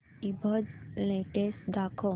ईबझ लेटेस्ट दाखव